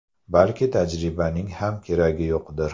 Balki tajribaning ham keragi yo‘qdir.